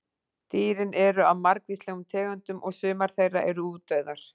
Dýrin eru af margvíslegum tegundum og sumar þeirra eru útdauðar.